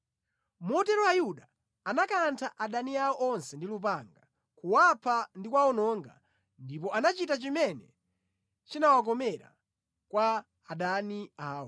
Motero Ayuda anakantha adani awo onse ndi lupanga, kuwapha ndi kuwawononga, ndipo anachita chimene chinawakomera kwa adani awo.